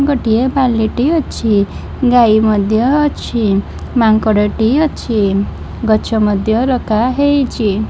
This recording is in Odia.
ଗୋଟେଏ ବାଲିଟି ଅଛି ଗାଈ ମଧ୍ୟ ଅଛି ମାଙ୍କଡ ଟି ଅଛି ଗଛ ମଧ୍ୟ ରଖା ହେଇଚି।